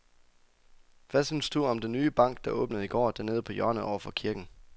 Hvad synes du om den nye bank, der åbnede i går dernede på hjørnet over for kirken?